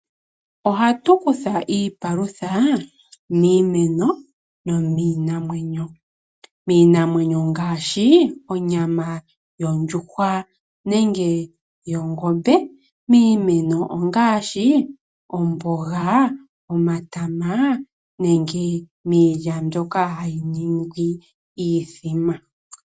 Ohatu kutha iipalutha miimeno nomiinamwenyo. Miinamwenyo ongaashi onyama yondjuhwa nenge yongombe, miimeno ongaashi omboga, omatama nenge miilya mbyoka hayi ningi iithima.